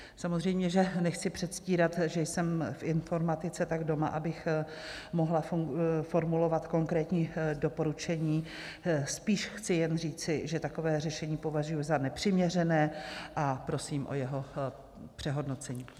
Samozřejmě že nechci předstírat, že jsem v informatice tak doma, abych mohla formulovat konkrétní doporučení, spíše chci jen říci, že takové řešení považuji za nepřiměřené, a prosím o jeho přehodnocení.